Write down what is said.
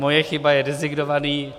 Moje chyba, je designovaný.